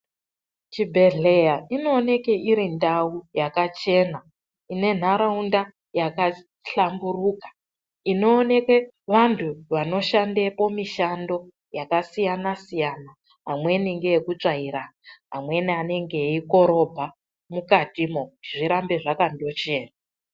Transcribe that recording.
Chibhedhleya inooneke iri ndau yakachena. Ine nentaraunda yakahlamburuka. Inooneke vantu vanoshandepo mushando yakasiyana siyana. Amweni ngeekutsvaira, amweni anenge eikorobha mukatimo, zvirambe zvakandochena.